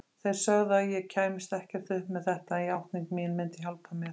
Þeir sögðu að ég kæmist ekkert upp með þetta, en játning mín myndi hjálpa mér.